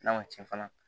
N'a ma cɛn fana